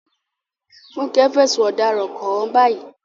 Funke fẹ̀sùn ọ̀daràn kàn án báyìí.